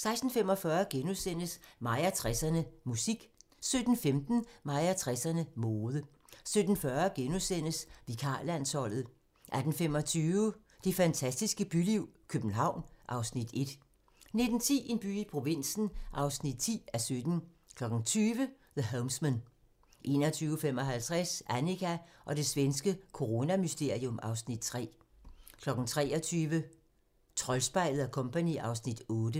16:45: Mig og 60'erne: Musik * 17:15: Mig og 60'erne: Mode 17:40: Vikarlandsholdet * 18:25: Det fantastiske byliv – København (Afs. 1) 19:10: En by i provinsen (10:17) 20:00: The Homesman 21:55: Annika og det svenske coronamysterium (Afs. 3) 23:00: Troldspejlet & Co. (Afs. 8)